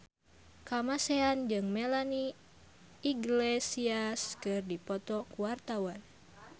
Kamasean jeung Melanie Iglesias keur dipoto ku wartawan